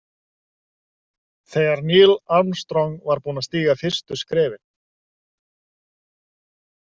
Þegar Neil Armstrong var búinn að stíga fyrstu skrefin.